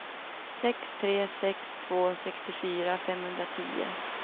sex tre sex två sextiofyra femhundratio